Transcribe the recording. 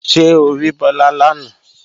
Ṣé o rí Bọ́lá lánàá?